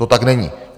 To tak není.